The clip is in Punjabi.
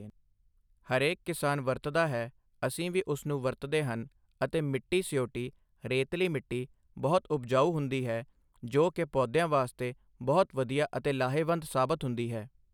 ਹਰੇਕ ਕਿਸਾਨ ਵਰਤਦਾ ਹੈ ਅਸੀਂ ਵੀ ਉਸ ਨੂੰ ਵਰਤਦੇ ਹਨ ਅਤੇ ਮਿੱਟੀ ਸਿਓਟੀ ਰੇਤਲੀ ਮਿੱਟੀ ਬਹੁਤ ਉਪਜਾਊ ਹੁੰਦੀ ਹੈ ਜੋ ਕਿ ਪੌਦਿਆਂ ਵਾਸਤੇ ਬਹੁਤ ਵਧੀਆ ਅਤੇ ਲਾਹੇਵੰਦ ਸਾਬਤ ਹੁੰਦੀ ਹੈ